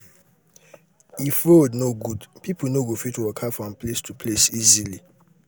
no um be everybody um dey use electricity for dis country some villages um still dey use lamp.